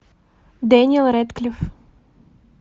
дэниэл рэдклифф